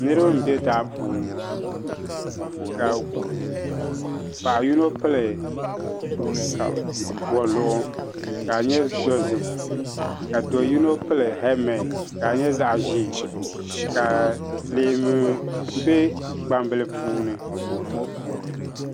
Niriba nbɛ daa puuni ŋɔ ka paɣa yino pili waluɣ kadinyɛ dozim kado yino pili hɛlimenti kadinyɛ zaɣi ʒɛɛ ka leemu be gbambili puni